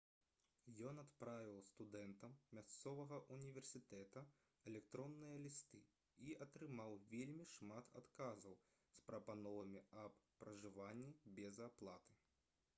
ён адправіў студэнтам мясцовага ўніверсітэта электронныя лісты і атрымаў вельмі шмат адказаў з прапановамі аб пражыванні без аплаты